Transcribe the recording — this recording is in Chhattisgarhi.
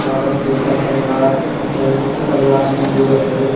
काबर के एकर परिवार अउ सयुक्त परिवार मन रथे।